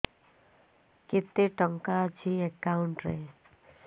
କେତେ ଟଙ୍କା ଅଛି ଏକାଉଣ୍ଟ୍ ରେ